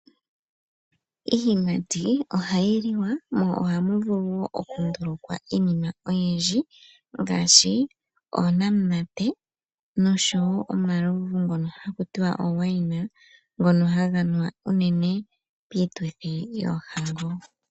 Iiyimati ohayi liwa mo ohamu vulu okundulkwa iini.a oyindji ngaashi oonamunate nosho woo omalovu ngono hakutiwa oowaina ngono haga nuwa uunene piituthi yoohango.